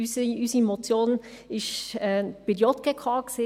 Unsere Motion war bei der JGK.